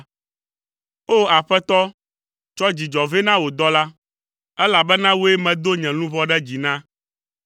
O! Aƒetɔ, tsɔ dzidzɔ vɛ na wò dɔla, elabena wòe medo nye luʋɔ ɖe dzi na.